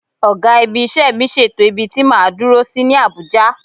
Ọ̀gá-ibi-iṣẹ́ mi ṣètò ibi tí máa dúró sí ní Àbújá.